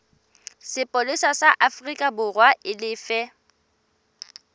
sepolesa sa aforikaborwa e lefe